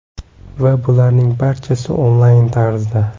Va bularning barchasi – onlayn tarzda.